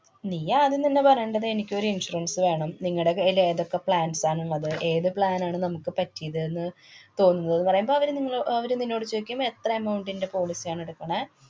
നീ ആദ്യം തന്നെ പറയേണ്ടത് എനിക്കൊരു insurance വേണം. നിങ്ങടെ കൈയില് ഏതൊക്കെ plans ആണുള്ളത്? ഏതു plan ആണ് നമുക്ക് പറ്റിയത്ന്ന് തോന്നുന്നത് ന്ന് പറയുമ്പോള് അവര് നിങ്ങളോ~ അഹ് അവര് നിന്നോട് ചോയിക്കും. എത്ര amount ന്‍റെ policy ആണ് എടുക്കണേ?